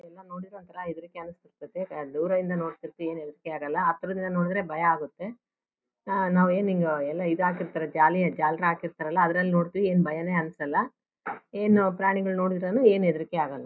ದೂರದಿಂದ ನೋಡಿದ್ರೆ ಹೆದರಿಕೆ ಆಗಲ್ಲ ಹತ್ರದಿಂದ ನೋಡಿದ್ರೆ ಭಯ ಆಗುತ್ತೆ ಆ ನಾವು ಏನು ಹಿಂಗೇ ಎಲ್ಲ ಇದ್ ಹಾಕಿರ್ತಾರೆ ಜಾಲಿ ಜಾಲರ್ ಹಾಕಿರ್ತಾರೆ ಅಲ್ಲ ಅದರಲ್ಲಿ ನೋಡ್ತಿವಿ ಏನು ಭಯನೇ ಅನ್ಸಲ್ಲ ಏನು ಪ್ರಾಣಿಗಳನ್ನು ನೋಡಿದ್ರು ಏನು ಹೆದರಿಕೆ ಆಗಲ್ಲ .